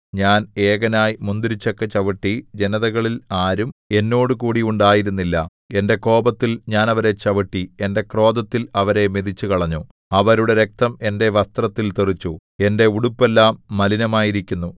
ഞാൻ ഏകനായി മുന്തിരിച്ചക്ക് ചവിട്ടി ജനതകളിൽ ആരും എന്നോടുകൂടി ഉണ്ടായിരുന്നില്ല എന്റെ കോപത്തിൽ ഞാൻ അവരെ ചവിട്ടി എന്റെ ക്രോധത്തിൽ അവരെ മെതിച്ചുകളഞ്ഞു അവരുടെ രക്തം എന്റെ വസ്ത്രത്തിൽ തെറിച്ചു എന്റെ ഉടുപ്പെല്ലാം മലിനമായിരിക്കുന്നു